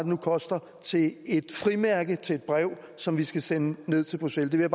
nu koster til et frimærke til et brev som vi skal sende ned til bruxelles det vil